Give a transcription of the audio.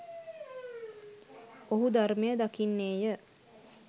ඔහු ධර්මය දකින්නේය.